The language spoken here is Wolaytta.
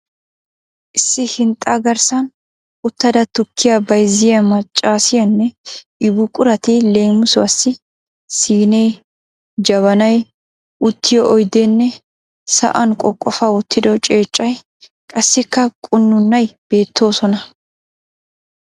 Issi hinxxaa garssan uttada tukkiya bayzziya maccassiyanne i buqurati leemisuwaasi siinee, jabanay, uttiyo oydeenne sa'aan qoqofa wottido ceeccay qassikka qunuunay beettoosona.